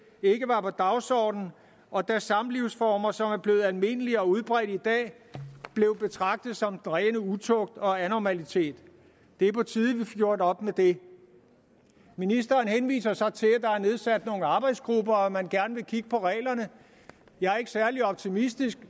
ikke var på dagsordenen og da samlivsformer som er blevet almindelige og udbredte i dag blev betragtet som den rene utugt og anormalitet det er på tide gjort op med det ministeren henviser så til at der er nedsat nogle arbejdsgrupper og at man gerne vil kigge på reglerne jeg er ikke særlig optimistisk